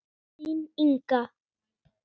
Þín, Inga.